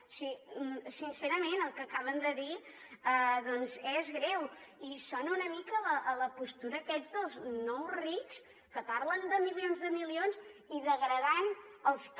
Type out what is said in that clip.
o sigui sincerament el que acaben de dir doncs és greu i sona una mica a la postura aquesta dels nous rics que parlen de milions de milions i degradant els que